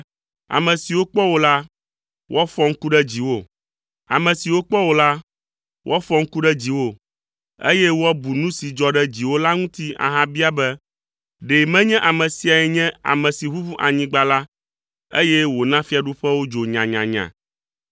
Ame siwo kpɔ wò la, woafɔ ŋku ɖe dziwò, eye woabu nu si dzɔ ɖe dziwò la ŋuti ahabia be, “Ɖe menye ame siae nye ame si ʋuʋu anyigba la, eye wòna fiaɖuƒewo dzo nyanyanya,